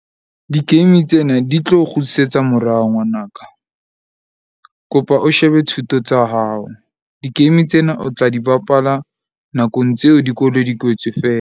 Di-game tsena di tlo kgutlisetsa morao ngwanaka. Kopa o shebe thuto tsa hao. Di-game tsena o tla di bapala nakong tseo dikolo di kwetswe .